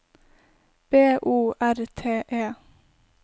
B O R T E